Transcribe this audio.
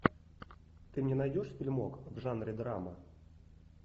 ты мне найдешь фильмок в жанре драмы